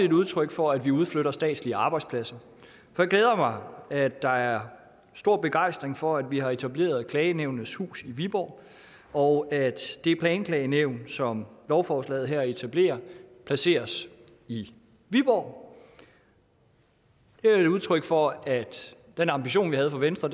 et udtryk for at vi udflytter statslige arbejdspladser det glæder mig at der er stor begejstring for at vi har etableret klagenævnenes hus i viborg og at det planklagenævn som lovforslaget her etablerer placeres i viborg det er et udtryk for at den ambition vi havde fra venstre